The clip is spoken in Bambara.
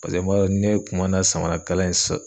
Pase n b'a dɔn ne kun ma na samarakalan in sɔ